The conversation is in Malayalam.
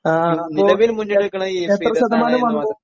ആ ആ അപ്പൊ എത്ര ശതമാനം വന്നു?